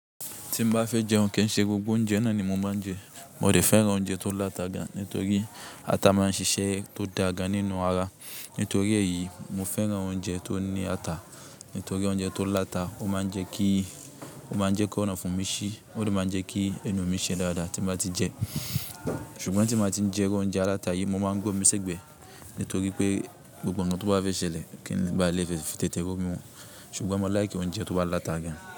Tí mo bá fẹ́ jẹun kí n ṣe gbogbo oúnjẹ náà ni mo máa ń jẹ. Mo dẹ̀ fẹ́ràn oúnjẹ tó láta gan nítorí ata máa ń ṣiṣẹ́ tó da gan nínú ara. Nítorí èyí, mo fẹ́ràn oúnjẹ tó ní ata. Nítorí oúnjẹ tó láta, ó máa ń jẹ́ kí, ó máa ń jẹ́ kí ọ̀nà fún mi sí, ó dẹ̀ máa ń jẹ́ kí ẹnu mi ṣe dáadáa tí mo ti ń jẹ. Ṣùgbọ́n tí mo ti ń jẹ irú oúnjẹ aláta yí, mo máa ń gbé omi sẹ́gbẹ̀. Nítorí pé gbogbo ǹkan tó bá fẹ́ ṣẹlẹ̀, kí n bá lè fi tètè ro mi mu. Ṣùgbọ́n mo like oúnjẹ tó bá láta gan.